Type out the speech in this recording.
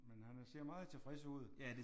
Men han ser meget tilfreds ud